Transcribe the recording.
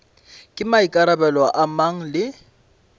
ke maikarabelo a mang le